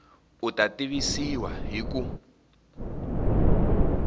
u ta tivisiwa hi ku